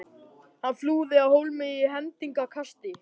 Hann flúði af hólmi í hendingskasti.